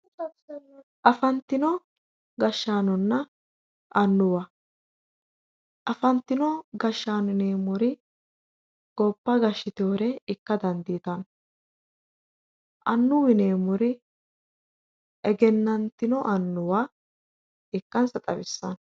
Afantino gashshaanonna annuwa, afantino gashshaano yineemmori gobba gashshiteewore ikka dandiitanno, annuwu yineemmori egennantino annuwa ikkansa xawissanno